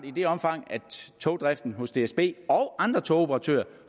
i det omfang togdriften hos dsb og andre togoperatører